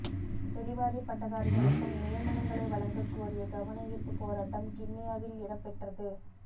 வெளிவாரி பட்டதாரிகளுக்கும் நியமனங்களை வழங்கக்கோரிய கவனயீர்ப்பு போராட்டம் கிண்ணியாவில் இடம் பெற்றது